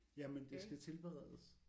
Ja men det skal tilberedes